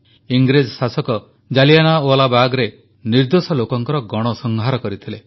ଇଂରେଜ ଶାସକ ଜାଲିଆନାୱାଲାବାଗରେ ନିର୍ଦ୍ଦୋଷ ଲୋକଙ୍କର ଗଣସଂହାର କରିଥିଲେ